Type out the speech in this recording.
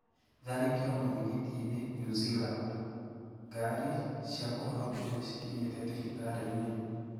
Tharĩkĩro mũthigitiini New Zealand: gari cia kũhonokia nicikinyete thibitarĩĩnĩ.